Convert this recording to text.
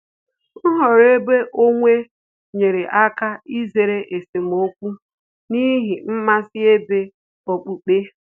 Nhọrọ ebe onwe nyere aka izere esemokwu n'ihi mmasị ebe okpukpe